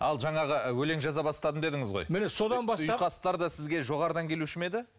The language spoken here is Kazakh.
ал жаңағы өлең жаза бастадым дедіңіз ғой міне содан бастап ұйқастар да сізге жоғарыдан келуші ме еді